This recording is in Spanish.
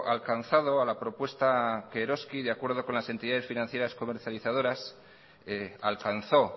alcanzado a la propuesta que eroski de acuerdo con las entidades financieras comercializadoras alcanzó